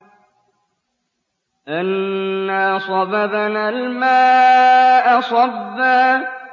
أَنَّا صَبَبْنَا الْمَاءَ صَبًّا